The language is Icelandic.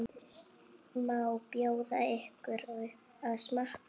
Má bjóða ykkur að smakka?